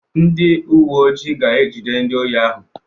Ndị uwe ojii ga-ejide ndị ohi ahụ.